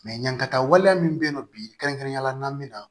yankata waleya min bɛ yen nɔ bi kɛrɛnkɛrɛnnenya la an bɛ na